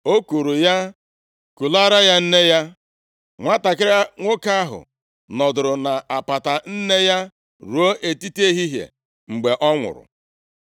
O kuuru ya, kulaara ya nne ya, nwantakịrị nwoke ahụ nọdụrụ nʼapata nne ya ruo etiti ehihie, mgbe ọ nwụrụ.